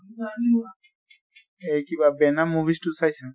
এই কিবা venom movies তো চাইছা?